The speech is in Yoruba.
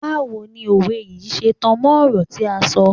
Báwo ni òwe yìí ṣe tan mọ́ ọ̀rọ̀ tí à ń sọ.